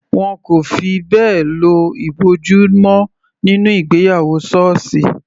Wọn kò fi bẹ́ẹ̀ lo ìbòjú mọ́ nínú ìgbéyàwó sọọsi.